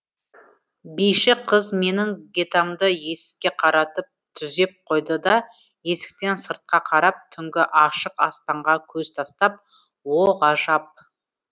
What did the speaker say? биші қыз менің гетамді есікке қаратып түзеп қойды да есіктен сыртқа қарап түнгі ашық аспанға көз тастап о ғажап